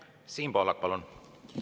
Siim Pohlak, palun!